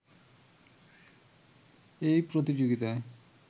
এই প্রতিযোগিতায়